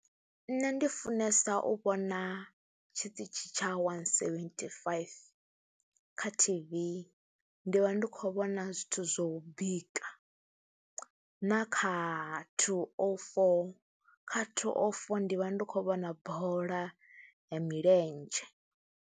Nṋe ndi funesa u vhona tshiṱitshi tsha wani seventhi faifi kha T_V, ndi vha ndi khou vhona zwithu zwou bika na kha thuu o foo, kha thuu o foo ndi vha ndi khou vhona bola ya milenzhe.